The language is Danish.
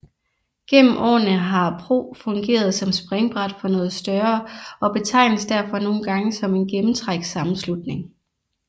Gennem årene har PRO fungeret som springbræt for noget større og betegnes derfor nogle gange som en gennemtrækssammenslutning